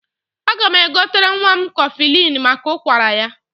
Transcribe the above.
Aga m egotere nwa m kọflịn maka ụkwara ya.